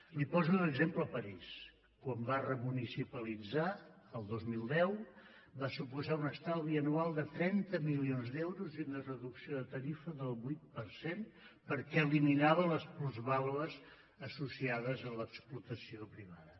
li poso d’exemple parís quan va remunicipalitzar el dos mil deu va suposar un estalvi anual de trenta milions d’euros i una reducció de tarifa del vuit per cent perquè eliminava les plusvàlues associades a l’explotació privada